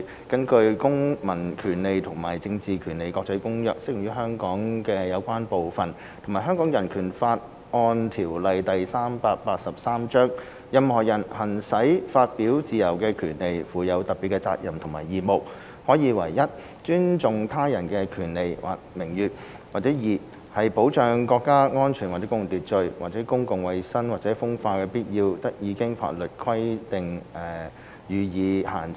根據《公民權利和政治權利國際公約》適用於香港的有關部分及《香港人權法案條例》，任何人行使發表自由的權利，附有特別責任及義務，可以為一尊重他人權利或名譽，或二保障國家安全或公共秩序，或公共衞生或風化的必要，得以經法律規定予以限制。